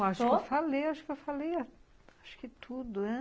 Não, acho que eu falei, acho que eu falei, acho que tudo, né?